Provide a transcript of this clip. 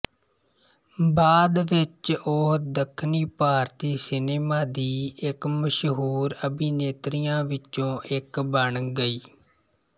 ਬਾਅਦ ਵਿੱਚ ਉਹ ਦੱਖਣੀ ਭਾਰਤੀ ਸਿਨੇਮਾ ਦੀ ਇੱਕ ਮਸ਼ਹੂਰ ਅਭਿਨੇਤਰੀਆਂ ਵਿਚੋਂ ਇੱਕ ਬਣ ਗਈ